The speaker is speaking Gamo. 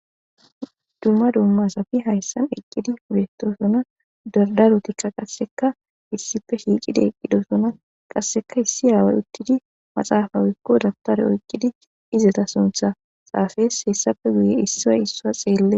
dumma dumma safi hayssan eqqidi pudetosona dardarotikka qasseka issife shiicidi eqqidosona qasseka issi haawa uttidi maxaafawikko dabtare oyqqidi izeta suntha saafees hessappe guye issiay issaa xeelle